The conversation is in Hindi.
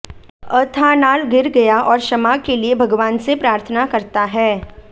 अथानाल गिर गया और क्षमा के लिए भगवान से प्रार्थना करता है